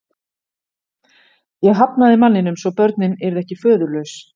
Ég hafnaði manninum svo börnin yrðu ekki föðurlaus.